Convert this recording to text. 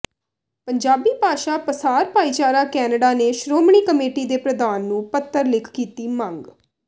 ਪੰਜਾਬੀ ਭਾਸ਼ਾ ਪਸਾਰ ਭਾਈਚਾਰਾ ਕੈਨੇਡਾ ਨੇ ਸ਼੍ਰੋਮਣੀ ਕਮੇਟੀ ਦੇ ਪ੍ਰਧਾਨ ਨੂੰ ਪੱਤਰ ਲਿਖ ਕੀਤੀ ਮੰਗ